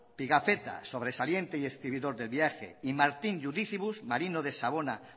pigafetta sobresaliente y escribidor de viaje y martín yudícibus marino de savona